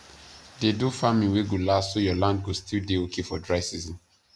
dey do farming wey go last so your land go still dey okay for dry season